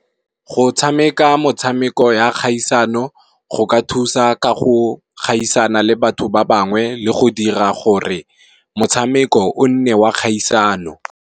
Go tshameka motshameko ya kgaisano go ka thusa ka go gaisana le batho ba bangwe le go dira gore motshameko o nne wa kgaisano.